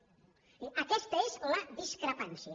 és a dir aquesta és la discrepància